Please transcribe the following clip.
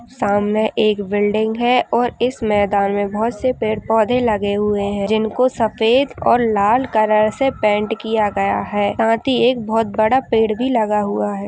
सामने एक बिल्डिंग है और इस मैदान में बहोत से पेड़ पौधे लगे हुये हैं जिनको सफ़ेद और लाल कलर से पेंट किया गया है साथ ही एक बहोत बड़ा पेड़ भी लगा हुआ है।